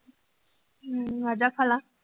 ਹਮ ਆਜਾ ਖਾਲਾ